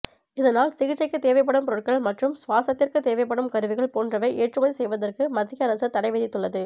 இதனால் சிகிச்சைக்கு தேவைப்படும் பொருட்கள் மற்றும் சுவாசத்திற்கு தேவைப்படும் கருவிகள் போன்றவை ஏற்றுமதி செய்வதற்கு மத்திய அரசு தடை விதித்துள்ளது